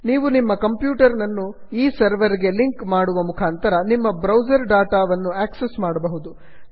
ನೀವು ನಿಮ್ಮ ಕಂಪ್ಯೂಟರನ್ನು ಈ ಸರ್ವರ್ ಗೆ ಸಿಂಕ್ ಮಾಡುವ ಮುಖಾಂತರ ನಿಮ್ಮ ಬ್ರೌಸರ್ ಡಾಟಾ ವನ್ನು ಆಕ್ಸಸ್ ಮಾಡಬಹುದು